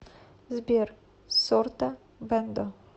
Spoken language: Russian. сбер сорта бэндо